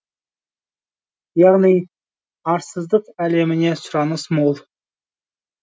яғни арсыздық әлеміне сұраныс мол